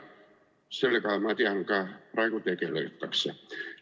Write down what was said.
Sellega, ma tean, praegu ka tegeldakse.